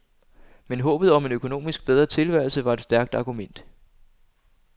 Men håbet om en økonomisk bedre tilværelse var et stærkt argument.